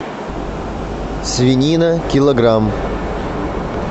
свинина килограмм